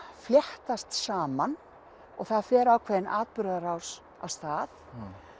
fléttast saman og það fer ákveðin atburðarás af stað